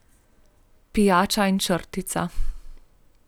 Pijača in črtica?